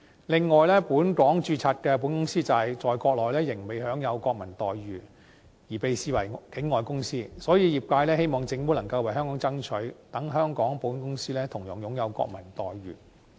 此外，本港註冊的保險公司在國內仍未享有國民待遇，而被視為境外公司，所以業界希望政府能夠為香港爭取，令香港保險公司同樣享有國民待遇。